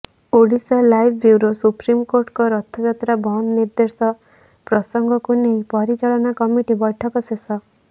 Odisha live bureau ସୁପ୍ରିମକୋର୍ଟଙ୍କ ରଥଯାତ୍ରା ବନ୍ଦ ନିର୍ଦ୍ଦେଶ ପ୍ରସଙ୍ଗକୁ ନେଇ ପରିଚାଳନା କମିଟି ବୈଠକ ଶେଷ